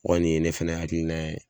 O kɔni ye ne fɛnɛ hakilina ye